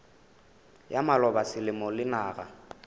ya maloba selemo le naga